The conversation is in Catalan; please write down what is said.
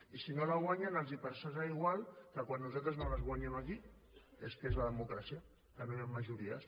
i si no la guanyen els passarà igual que quan nosaltres no les guanyem aquí que és que és la democràcia que no hi han majories